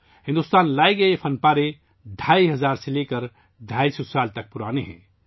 بھارت کو لوٹائے گئے یہ نوادرات ڈھائی ہزار سے لے کر 250 سال تک پرانی ہیں